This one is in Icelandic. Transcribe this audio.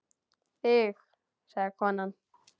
Þig sagði konan.